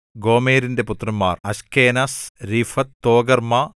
ഗോമെരിന്റെ പുത്രന്മാർ Ashkenaz Riphath Togarmah